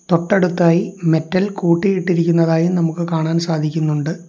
തൊട്ടടുത്തായി മെറ്റൽ കൂട്ടിയിട്ടിരിക്കുന്നതായി നമുക്ക് കാണാൻ സാധിക്കുന്നുണ്ട്.